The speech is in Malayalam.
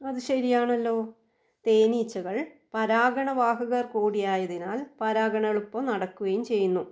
അത് ശരിയാണല്ലോ. തേനീച്ചകൾ പരാഗണ വാഹകർ കൂടിയായതിനാൽ പരാഗണം എളുപ്പം നടക്കുകയും ചെയ്യുന്നു.